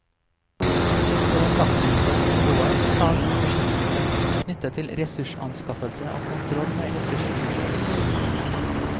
På det taktiske nivået tas beslutninger knyttet til ressursanskaffelse og kontroll med ressursbruken.